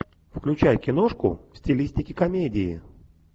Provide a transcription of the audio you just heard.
включай киношку в стилистике комедии